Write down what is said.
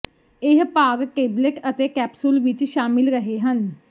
ਇਹ ਭਾਗ ਟੇਬਲੇਟ ਅਤੇ ਕੈਪਸੂਲ ਵਿੱਚ ਸ਼ਾਮਿਲ ਰਹੇ ਹਨ